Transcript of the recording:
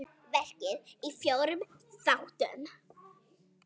Verkið er í fjórum þáttum.